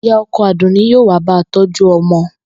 Ìyá o̩ko̩ Àdùnní yóò wá ba tó̩jú o̩mo̩